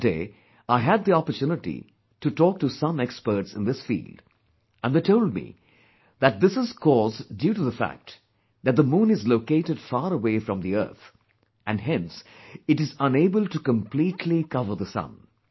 On that day, I had the opportunity to talk to some experts in this field...and they told me, that this is caused due to the fact that the moon is located far away from the earth and hence, it is unable to completely cover the sun